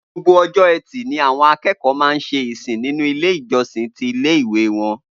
Gbogbo o̩jó̩ E̩tì ni àwo̩n aké̩kò̩ó̩ máa ń s̩e ìsìn nínú ilé ìjo̩sìn ti ilé ìwé wo̩n